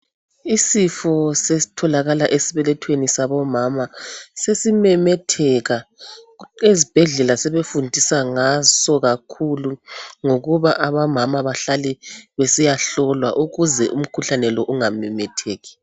Isifo sesitholakala esibelethweni sabomama sesimemetheka ezibhedlela sebefundisa ngaso kakhulu ngokuba omama bahlale besiyahlolwa ukuze umkhuhlane lo ungamemetheki.